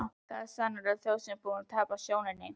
Þetta var sannarlega þjóð sem var búin að tapa sjóninni.